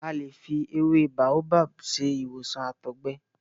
A lè fi ewé Baobab ṣe ìwòsàn àtọ̀gbẹ.